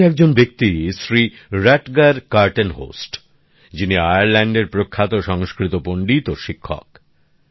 এরকমি একজন ব্যক্তি Shri Rutger Kortenhorst যিনি আয়ারল্যান্ডের প্রখ্যাত সংস্কৃত পন্ডিত ও শিক্ষক